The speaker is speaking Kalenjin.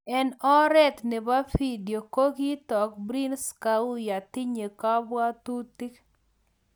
Eng oret nebo video ko kitook Prince kouya tinye kabwatutik